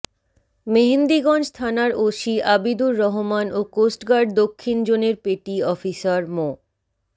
মেহেন্দিগঞ্জ থানার ওসি আবিদুর রহমান ও কোস্টগার্ড দক্ষিণ জোনের পেটি অফিসার মো